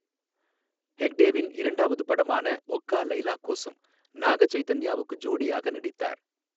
ஹெக்டேவின் இரண்டாவது படமான ஒகா லைலா கோசம், நாக சைதன்யாவுக்கு ஜோடியாக நடித்தார்.